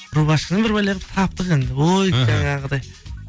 рубашканы бір бәле қылып таптық енді ой жаңағыдай